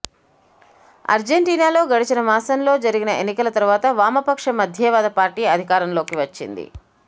అర్జెంటీనాలో గడచిన మాసంలో జరిగిన ఎన్నికల తరువాత వామపక్ష మధ్యేవాద పార్టీ అధికారంలోకి వచ్చింది